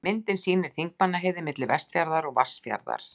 Myndin sýnir Þingmannaheiði, milli Vattarfjarðar og Vatnsfjarðar.